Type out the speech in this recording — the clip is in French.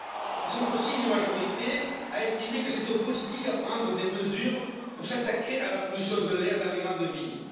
Ils sont aussi une majorité à estimer que c'est aux politiques de prendre des mesures pour s'attaquer à la pollution de l'air dans les grandes villes.